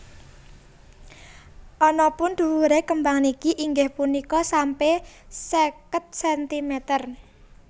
Anapun dhuwure kembang niki inggih punika sampe seket sentimeter